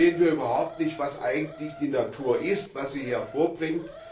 Sehen wir überhaupt nicht, was eigentlich die Natur ist, was sie hervorbringt?